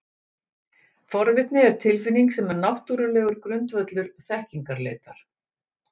Forvitni er tilfinning sem er náttúrulegur grundvöllur þekkingarleitar.